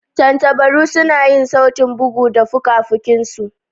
Tantabaru suna yin sautin bugu da fuka-fuki su.